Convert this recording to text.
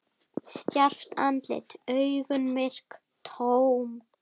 Stjarft andlit, augun myrk, tóm.